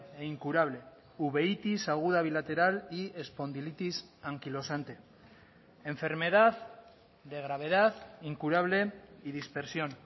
e incurable uveítis aguda bilateral y espondilitis anquilosante enfermedad de gravedad incurable y dispersión